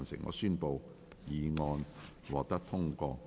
我宣布議案獲得通過。